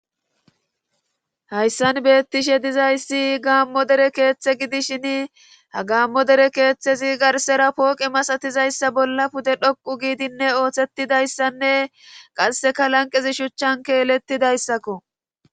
hayssan beettishe dizayssi gaammo dere keeththe gidishin ha gaammo dere keeththezi garsera pooqi masatizayssa bolla pude dhoqu giidinne ooththetidayssanne qasseka lanqezi shuchchan keelettidayssakko